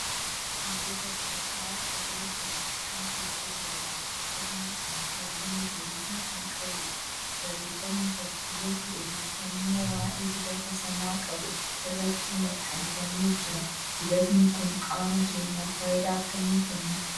Kun gosa dibataa qodaa pilaastikaa keessa jiruudha. Qodaan kun halluu magariisa kan qabuudha. Barreeffamni fakkiileefi odeeffannnoo waa'ee dibata sanaa qabu irratti maxxanfamee jira. Dibatni kun qaama keenyaaf faayidaa akkamii kenna?